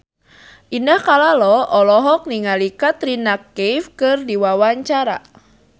Indah Kalalo olohok ningali Katrina Kaif keur diwawancara